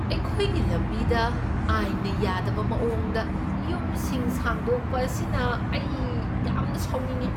ꯑꯩꯈꯣꯏꯒꯤ ꯂꯝꯕꯤꯗ ꯑꯥꯏꯟꯅ ꯌꯥꯗꯕ ꯃꯑꯣꯡꯗ ꯌꯨꯝꯁꯤꯡ ꯁꯥꯡꯗꯣꯛꯄ ꯑꯁꯤꯅ ꯑꯩ ꯌꯥꯝꯅ ꯁꯥꯎꯅꯤꯡꯢ꯫